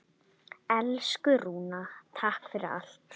Elsku Rúna, takk fyrir allt.